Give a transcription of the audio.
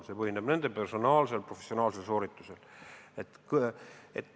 See põhineb nende personaalsel professionaalsel sooritusel.